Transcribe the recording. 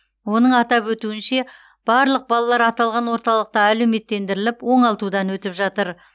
оның атап өтуінше барлық балалар аталған орталықта әлеуметтендіріліп оңалтудан өтіп жатыр